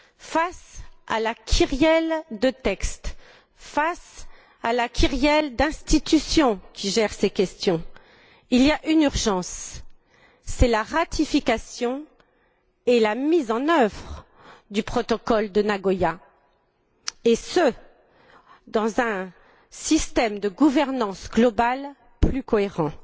Face à la kyrielle de textes, face à la kyrielle d'institutions qui gèrent ces questions, il y a une urgence c'est la ratification et la mise en œuvre du protocole de Nagoya et ce, dans un système de gouvernance globale plus cohérent.